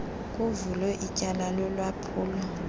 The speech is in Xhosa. kuvulwe ityala lolwaphulo